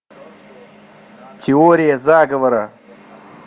теория заговора